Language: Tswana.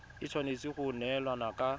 e tshwanetse go neelana ka